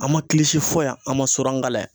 An ma kilisi fo yan an ma su an kalan yan.